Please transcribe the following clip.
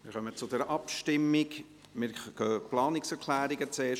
Wir gehen zuerst die Planungserklärungen durch.